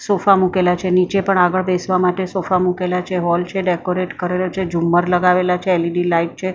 sofa મુકેલા છે નીચે પણ આગળ બેસવા માટે સોફા મુકેલા છે હૉલ છે ડેકોરેટ કરેલો છે ઝુમ્મર લગાવેલા છે એલઈડી લાઈટ છે--